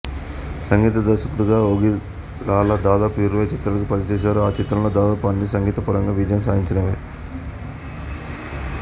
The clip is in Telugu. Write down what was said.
సంగీత దర్శకునిగా ఓగిరాల దాదాపు ఇరవై చిత్రాలకు పనిచేశారు ఆ చిత్రాలలో దాదాపు అన్నీ సంగీతపరంగా విజయం సాధించినవే